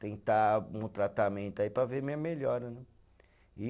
Tentar um tratamento aí para ver minha melhora, né? E